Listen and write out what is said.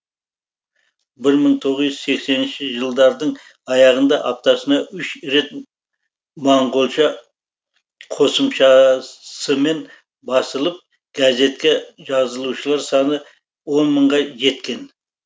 бір мың тоғыз жүз сексенінші жылдардың аяғында аптасына үш рет моңғолша қосымшасымен басылып газетке жазылушылар саны он мыңға жеткен